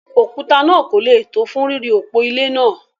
òkúta náà kò le tó fún ríri òpó ilé náà.